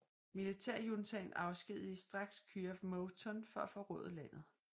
Militærjuntaten afskedigede straks Kyaw Moe Tun for at forråde landet